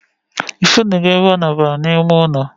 I funu go ebe o nabara na ime ụlọ